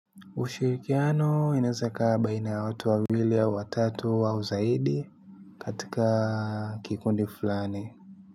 Ushirikiano inaeza ikawa baina ya watu wawili au watatu au zaidi katika kikundi fulani.